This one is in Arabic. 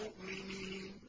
مُّؤْمِنِينَ